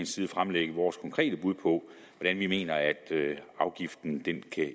side fremlægge vores konkrete bud på hvordan vi mener at afgiften kan